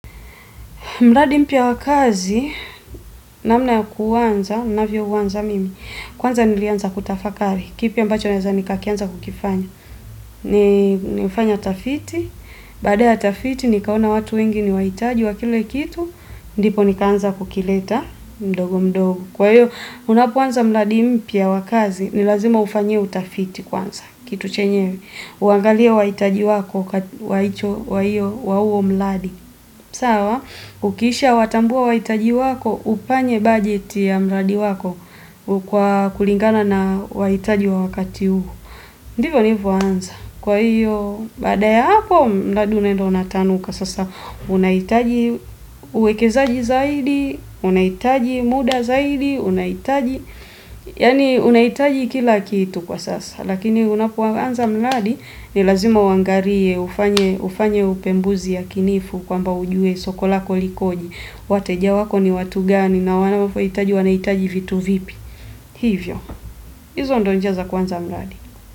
Mradi mpya wa kazi, namna ya kuanza, ninavyouwanza mimi. Kwanza nilianza kutafakari. Kipi ambacho naweza nikakianza kukifanya. Nilifanya utafiti. Baada ya tafiti, nikaona watu wengi ni wahitaji wa kile kitu. Ndipo nikaanza kukileta mdogo mdogo. Kwa hiyo, unapoanza mradi mpya wa kazi, ni lazima ufanyie utafiti kwanza. Kitu chenyewe. Uangalie wahitaji wako, wahicho wa hiyo, wa huo mradi. Sawa, ukisha watambua wahitaji wako, ufanye bajeti ya mradi wako kwa kulingana na wahitaji wa wakati huo. Ndivyo nilivyo anza. Kwa hiyo, bada ya hapo, mradi unaenda unatanuka sasa. Unahitaji uwekezaji zaidi, unahitaji muda zaidi, unahitaji. Yani, unaitaji kila kitu kwa sasa. Lakini unapo anza mradi ni lazima uwangalie ufanye upembuzi yakinifu kwamba ujue soko lako likoje. Wateja wako ni watu gani na wanapo hitaji wanahitaji vitu vipi. Hivyo. Hizo ndio njia za kuanza mradi.